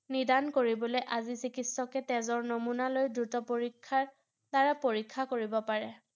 নিদান কৰিবলে আজি চিকিৎসকে তেজৰ নমুনা লৈ দ্ৰুত পৰীক্ষাৰ দ্বাৰা পৰীক্ষা কৰিব পাৰে ৷